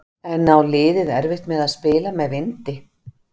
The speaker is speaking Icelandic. En á liðið erfitt með að spila með vindi?